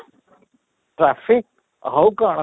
traffic ଆଉ କ'ଣ?